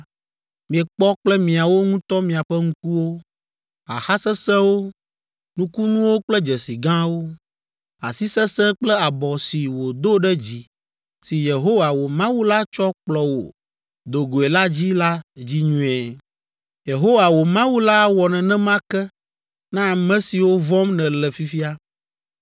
miekpɔ kple miawo ŋutɔ miaƒe ŋkuwo, xaxa sesẽwo, nukunuwo kple dzesi gãwo, asi sesẽ kple abɔ si wòdo ɖe dzi si Yehowa, wò Mawu la tsɔ kplɔ wò do goe la dzi la dzi nyuie. Yehowa, wò Mawu la awɔ nenema ke na ame siwo vɔ̃m nèle fifia.